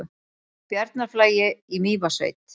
Bjarnarflagi í Mývatnssveit.